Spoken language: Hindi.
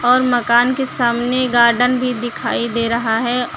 और मकान के सामने गार्डन भी दिखाई दे रहा है।